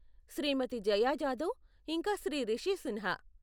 శ్రీమతి జయా జాదవ్, ఇంకా శ్రీ రిషీ సిన్హా.